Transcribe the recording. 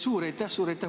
Suur aitäh!